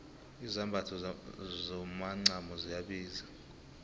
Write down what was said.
izambatho zomacamo ziyabiza